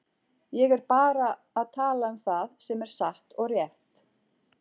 Ég er bara að tala um það sem er satt og rétt.